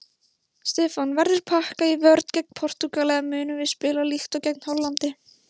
Stefán: Verður pakkað í vörn gegn Portúgal eða munum við spila líkt og gegn Hollandi?